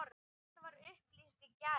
Þetta var upplýst í gær.